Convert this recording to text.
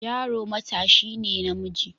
Yaro matashi ne namiji.